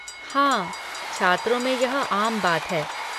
हाँ, छात्रों में यह आम बात है।